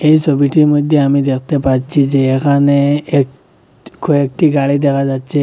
এই ছবিটির মইধ্যে আমি দেখতে পাচ্ছি যে এখানে এক কয়েকটি গাড়ি দেখা যাচ্ছে।